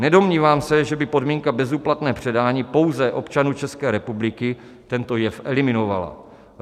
Nedomnívám se, že by podmínka bezúplatného předání pouze občanům České republiky tento jev eliminovala.